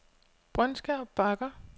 Brøndskær Bakker